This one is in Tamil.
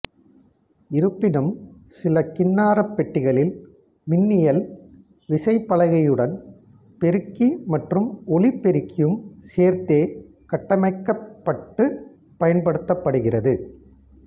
இருப்பினும் சில கின்னாரப்பெட்டிகளில் மின்னியல் விசைப்பலகையுடன் பெருக்கி மற்றும் ஒலிபெருக்கியும் சேர்த்தே கட்டமைக்கப்பட்டுப் பயன்படுத்தப்படுகிறது